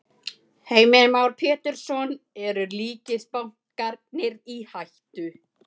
Heimir Már Pétursson: Eru ríkisbankarnir í hættu?